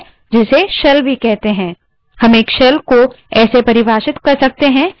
ये command interpreter का कार्य है जिसे shell भी कहते हैं